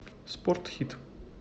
спорт хит